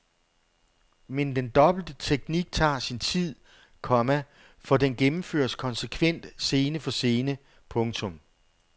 Men den dobbelte teknik tager sin tid, komma for den gennemføres konsekvent scene for scene. punktum